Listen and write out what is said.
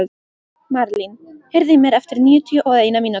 Marlín, heyrðu í mér eftir níutíu og eina mínútur.